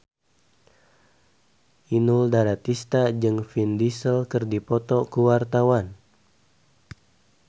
Inul Daratista jeung Vin Diesel keur dipoto ku wartawan